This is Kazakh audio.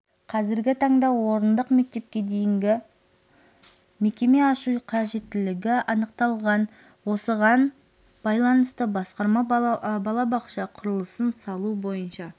қазіргі таңда орындық мектепке дейінгі мекеме ашу қажеттілігі анықталған осыған байланысты басқарма балабақша құрылысын салу бойынша